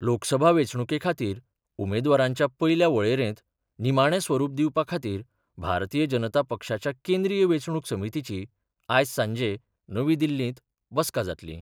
लोकसभा वेंचणुके खातीर उमेदवारांच्या पयल्या वळेरेंत निमाणें स्वरूप दिवपा खातीर भारतीय जनता पक्षाच्या केंद्रीय वेंचणुक समितीची आयज सांजे नवी दिल्लींत बसका जातली.